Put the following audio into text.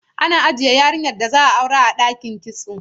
Ana ajiye yarinyar da za a aurar a ɗakin kitso.